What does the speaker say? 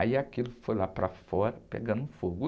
Aí aquilo foi lá para fora, pegando fogo.